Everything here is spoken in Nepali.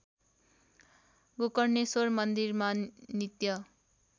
गोकर्णेश्वर मन्दिरमा नित्य